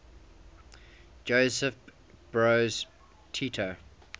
josip broz tito